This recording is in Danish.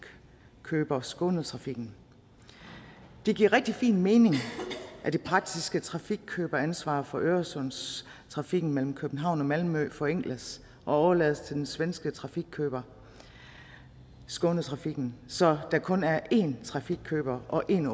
skånetrafiken det giver rigtig fin mening at det praktiske trafikkøberansvar for øresundstrafikken mellem københavn og malmø forenkles og overlades til den svenske trafikkøber skånetrafiken så der kun er én trafikkøber og én